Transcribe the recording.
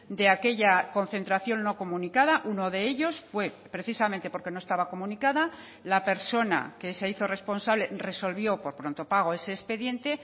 de aquella concentración no comunicada uno de ellos fue precisamente porque no estaba comunicada la persona que se hizo responsable resolvió por pronto pago ese expediente